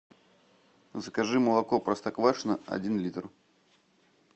закажи молоко простоквашино один литр